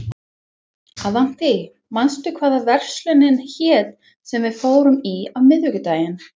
Avantí, manstu hvað verslunin hét sem við fórum í á miðvikudaginn?